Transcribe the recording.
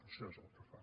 això és el que fan